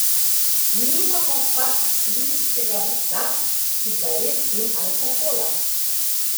Nimamo pa svinjskega mesa, cigaret in alkohola.